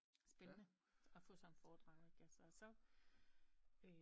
Spændende at få sådan et fordrag ikke altså